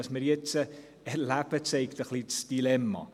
Was wir jetzt erleben, zeigt ein bisschen das Dilemma.